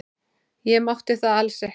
Ég mátti það alls ekki.